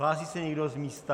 Hlásí se někdo z místa?